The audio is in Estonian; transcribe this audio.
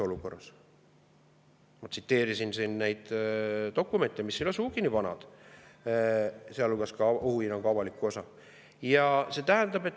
Ma tsiteerisin siin neid dokumente, mis ei ole sugugi nii vanad, sealhulgas ohuhinnangu avalikku osa.